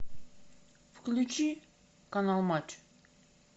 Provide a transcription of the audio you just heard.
включи канал матч